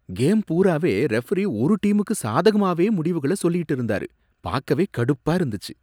Game பூராவே referee ஒரு டீமுக்கு சாதகமாவே முடிவுகள சொல்லிட்டு இருந்தாரு, பாக்கவே கடுப்பா இருந்துச்சு.